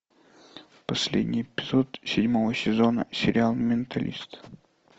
последний эпизод седьмого сезона сериал менталист